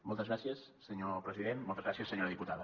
moltes gràcies senyor president moltes gràcies senyora diputada